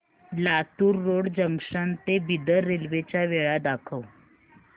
Latur road junction ते Bidar railway च्या वेळा दाखव